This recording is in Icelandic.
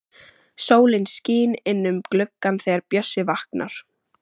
Sólin skín inn um gluggann þegar Bjössi vaknar.